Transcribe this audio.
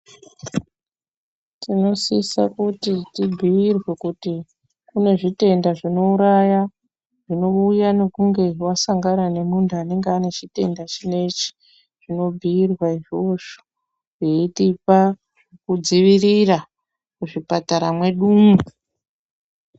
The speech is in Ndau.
Tinosisa kuti tibhuyirwe kuti kune zvitenda zvinouraya zvinouya nekunge wasangana nemuntu anenge ane chitenda chinechi. Tinobhuyirwa izvozvo, zveitipa kudzivirira muzvipatara mwedumwo.